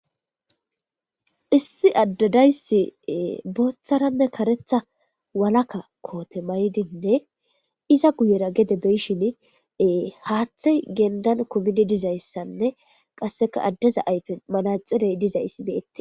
issi addadayssi booththaranne karetha walaka koote maydinne iza guyera gede beyishin haaththey gendan kumidi dizayssanne qasseka addeza ayfe manaxirey dizayss beyette